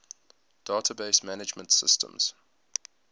database management systems